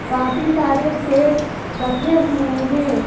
काफी सारे सेट रखे हुए हैं।